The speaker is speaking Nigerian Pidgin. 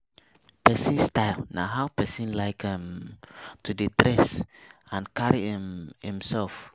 Personal style na how pesin like um to dey dress and carry um imself